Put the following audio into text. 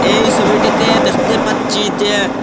এই সবিটিতে দেখতে পাচ্ছি যে--